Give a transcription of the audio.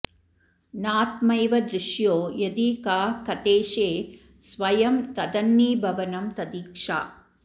नात्मैव दृश्यो यदि का कथेशे स्वयं तदन्नीभवनं तदीक्षा